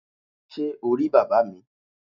Sé o rí bàbá mi?